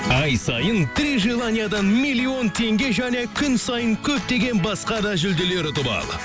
ай сайын три желаниядан миллион теңге және күн сайын көптеген басқа да жүлделер ұтып ал